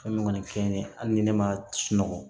Fɛn min kɔni fɛn ye hali ni ne ma sunɔgɔ